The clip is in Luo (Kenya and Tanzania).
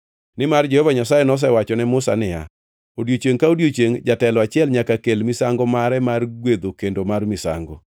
Nimar Jehova Nyasaye nosewacho ne Musa niya, “Odiechiengʼ ka odiechiengʼ jatelo achiel nyaka kel misango mare mar gwedho kendo mar misango.”